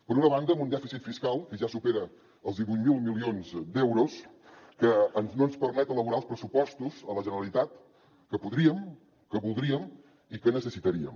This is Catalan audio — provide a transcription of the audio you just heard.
per una banda amb un dèficit fiscal que ja supera els divuit mil milions d’euros que no ens permet elaborar els pressupostos a la generalitat que podríem que voldríem i que necessitaríem